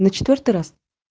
на четвёртый раз